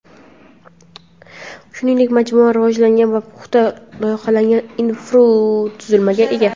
Shuningdek majmua rivojlangan va puxta loyihalangan infratuzilmaga ega.